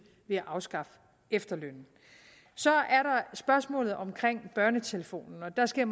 ved at afskaffe efterlønnen så er der spørgsmålet om børnetelefonen og der skal